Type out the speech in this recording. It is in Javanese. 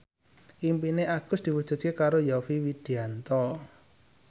impine Agus diwujudke karo Yovie Widianto